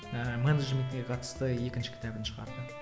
ыыы менеджментіне қатысты екінші кітабын шығарды